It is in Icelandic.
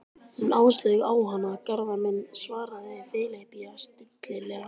Hún Áslaug á hana, Garðar minn, svaraði Filippía stillilega.